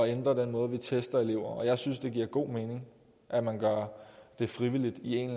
ændre den måde vi tester elever på og jeg synes det giver god mening at man gør det frivilligt i en